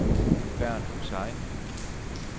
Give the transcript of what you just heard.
Bernt Hussein